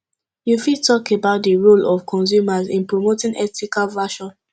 you fit talk about di role of consumers in promoting ethical fashon